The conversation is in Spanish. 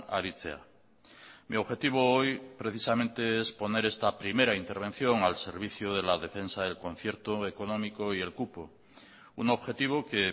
aritzea mi objetivo hoy precisamente es poner esta primera intervención al servicio de la defensa del concierto económico y el cupo un objetivo que